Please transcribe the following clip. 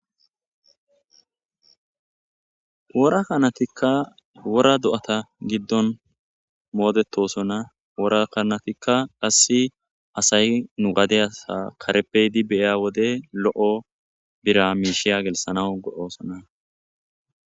Wora kanatika wora do'ata gidon moodetosona wora kanatika qase asay nu gadiyasi kareppe yidi beyo wode lo'o bira miisha gelsanaw go'osona.